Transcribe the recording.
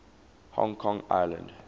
hong kong island